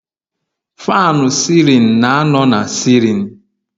Faanụ sịlịn na-anọ na sịlịn